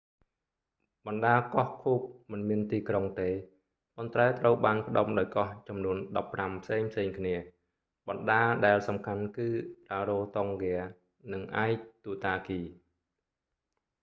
បណ្តាកោះឃូក cook មិនមានទីក្រុងទេ ប៉ុន្តែត្រូវបានផ្តុំដោយកោះចំនួន 15 ផ្សេងៗគ្នា បណ្តាដែលសំខាន់គឺរ៉ារ៉ូតុងហ្គា rarotonga និងអាយទុតាគី aitutaki